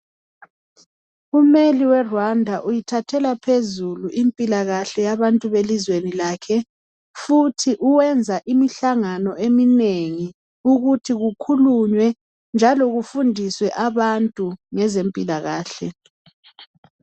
Umeli we Rwanda uyithathela phezulu impilakahle yabantu belizweni lakhe futhi wenza imihlangano eminengi ukuthi kukhulunywe njalo kufundiswe abantu ngezempilakahle.